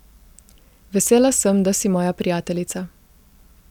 Vesela sem, da si moja prijateljica.